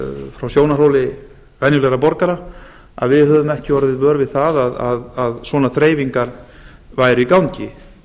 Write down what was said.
frá sjónarhóli venjulegra borgara við höfum ekki orðið vör við að svona þreifingar væri í gangi